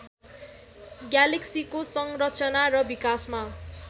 ग्यालेक्सीको संरचना र विकासमा